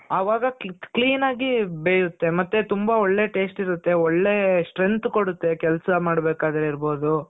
ಅವಾಗ clean ಆಗಿ ಬೇಯುತ್ತೆ. ಮತ್ತೆ ತುಂಬಾ ಒಳ್ಳೆ taste ಇರುತ್ತೆ. ಒಳ್ಳೆ strength ಕೊಡುತ್ತೆ. ಕೆಲ್ಸ ಮಾಡ್ತಿರ್ಬೇಕಾದ್ರೆ ಆಗಿರ್ಬೋದು